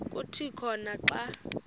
kuthi khona xa